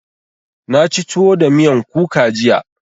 Na ci tuwo da miyan kuka jiya.